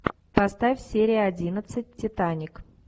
поставь серия одиннадцать титаник